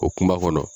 O kuma kɔnɔ